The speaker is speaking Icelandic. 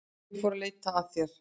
Ég fór að leita að þér.